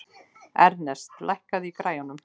Ernest, lækkaðu í græjunum.